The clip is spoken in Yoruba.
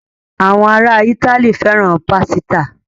Àwọn ará Ítálì fẹ́ràn pásítà.